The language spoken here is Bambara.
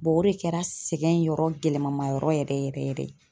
o de kɛra sɛgɛn yɔrɔ gɛlɛmanma yɔrɔ yɛrɛ yɛrɛ yɛrɛ.